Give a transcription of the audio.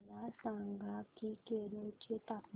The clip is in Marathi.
मला सांगा की केरळ चे तापमान